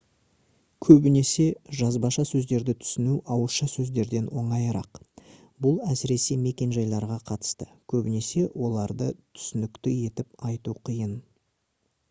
көбінесе жазбаша сөздерді түсіну ауызша сөздерден оңайырақ бұл әсіресе мекенжайларға қатысты көбінесе оларды түсінікті етіп айту қиын